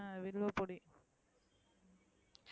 ஆமா வில்வ பொடி,